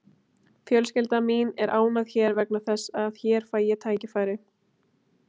Fjölskylda mín er ánægð hér vegna þess að hér fæ ég tækifæri.